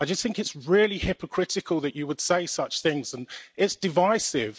I just think it is really hypocritical that you would say such things, and it is divisive.